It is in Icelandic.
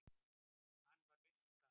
Hann var viss um það.